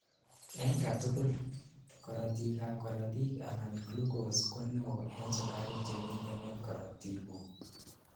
en katugul: korotik ab korotik anan glucose ko neo en sugaruk chemiten en korotiguk